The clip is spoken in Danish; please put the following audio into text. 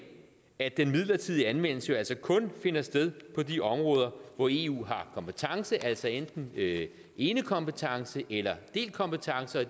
at den midlertidige anvendelse jo altså kun finder sted på de områder hvor eu har kompetence altså enten enekompetence eller delt kompetence og